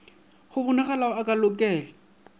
go bonalago a ka lokela